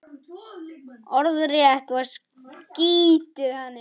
Orðrétt var skeytið þannig